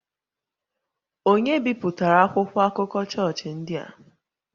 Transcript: Ònye bipụtara akwụkwọ akụkọ chọọchị ndị a?